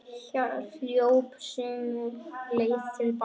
Hljóp sömu leið til baka.